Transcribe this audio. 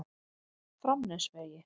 Framnesvegi